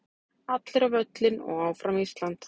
Allir á völlinn og Áfram Ísland.